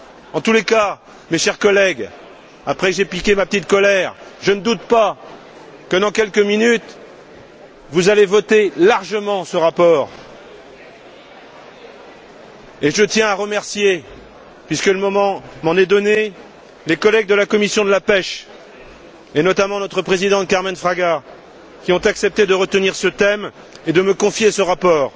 En tous les cas, mes chers collègues, après que j'ai piqué ma petite colère, je ne doute pas que, dans quelques minutes, vous allez voter largement ce rapport et, puisque le moment m'en est donné, je tiens à remercier les collègues de la commission de la pêche, et notamment notre présidente, Carmen Fraga Estévez, qui ont accepté de retenir ce thème et de me confier ce rapport.